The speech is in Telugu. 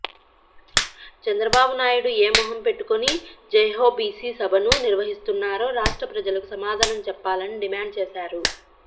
చంద్రబాబు నాయుడు ఏమొహం పెట్టుకుని జయహో బీసీ సభను నిర్వహిస్తున్నారో రాష్ట్ర ప్రజలకు సమధానం చెప్పాలని డిమాండు చేశారు